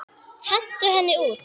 Hentu henni út!